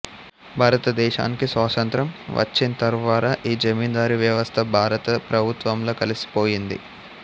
భారత దేశానికి స్వాతంత్ర్యం వచ్చింతర్వార ఈ జమీందారి వ్యవస్థ భారత ప్రభుత్వంలో కలిసి పోయింది